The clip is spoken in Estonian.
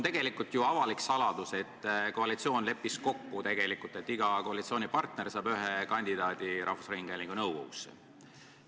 Tegelikult on ju avalik saladus, et koalitsioon leppis kokku, et iga koalitsioonipartner saab rahvusringhäälingu nõukogusse ühe kandidaadi.